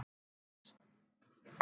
Agnes